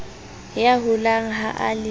ya holang ha a le